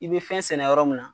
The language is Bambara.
I be fɛn sɛnɛ yɔrɔ min na